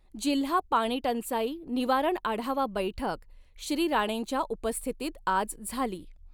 जिल्हा पाणीटंचाई निवारण आढावा बैठक श्री राणेंच्या उपस्थितीत आज झाली.